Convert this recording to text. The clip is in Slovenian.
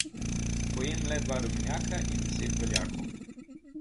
Pojem le dva rumenjaka in deset beljakov.